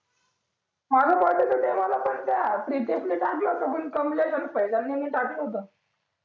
माझ्या birthday च्या वेळेला पण त्या प्रितेश नि टाकलं होत पण त्या कमलेश आणि फैजल नि नाही टाकलं होतं